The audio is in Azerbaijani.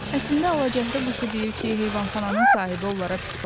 Əslində Alacəhrə quşu deyir ki, heyvanxananın sahibi onlara pis baxmır.